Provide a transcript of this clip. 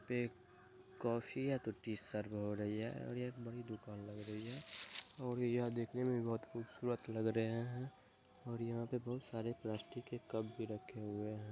एक कॉफी या tea serve हो रही है और यह बड़ी दुकान लग रही है और यह दिखने मे भी बहोत खूबसूरत लग रहे हैं और यहाँ बहोत सारे प्लास्टिक के कप भी रखे हुए हैं।